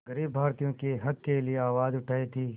ग़रीब भारतीयों के हक़ के लिए आवाज़ उठाई थी